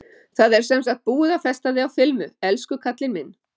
Það er sem sagt búið að festa þig á filmu, elsku kallinn minn.